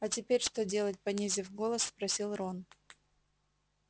а теперь что делать понизив голос спросил рон